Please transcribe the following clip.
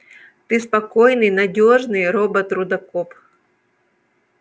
ты спокойный надёжный робот-рудокоп